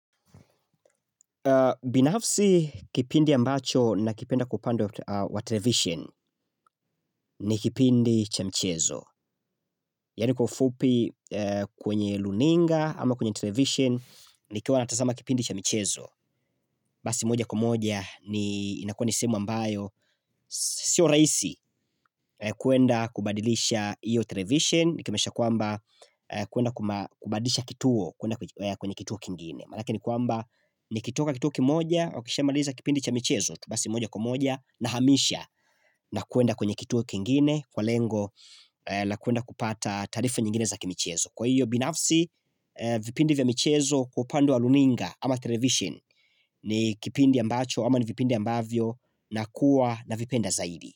Binafsi kipindi ambacho na kipenda kupando wa television ni kipindi cha michezo Yani kwa ufupi kwenye luninga ama kwenye television ni kiwa natasama kipindi cha michezo Basi moja kwa moja inakua nisemu ambayo Sio raisi kuenda kubadilisha iyo television Nikimesha kwamba kuenda kubadisha kituo kwenye kituo kingine Manake ni kwamba ni kitoka kituo kimoja wakishamaliza kipindi cha michezo Tumasi moja kwa moja na hamisha na kwenda kwenye kituo kingine Kwa lengo na kuenda kupata tarifa nyingine za kimichezo Kwa hiyo binafsi vipindi vya michezo kupandu wa luninga ama television ni kipindi ambacho ama ni vipindi ambavyo na kuwa na vipenda zaidi.